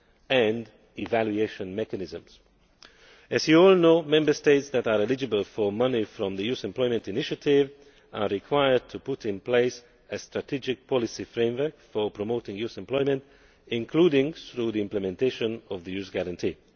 and evaluation mechanisms. As you all know, Member States that are eligible for money from the Youth Employment Initiative are required to put in place a strategic policy framework for promoting youth employment, including through implementation of the Youth Guarantee.